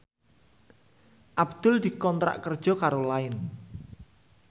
Abdul dikontrak kerja karo Line